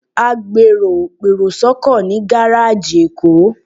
Àgbèrò pèrò sọ́kọ̀ ní gáréèjì èkó